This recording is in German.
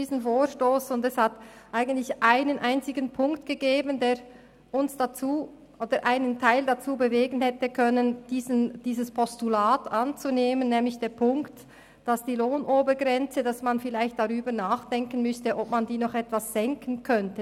Es gab eigentlich einen einzigen Punkt, der uns oder einen Teil von uns dazu hätte bewegen können, dieses Postulat anzunehmen, nämlich den Punkt, dass man vielleicht darüber nachdenken müsste, ob man die Lohnobergrenze noch etwas senken könnte.